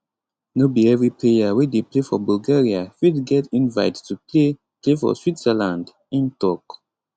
no be evri player wey dey play for bulgaria fit get invite to play play for switzerland im tok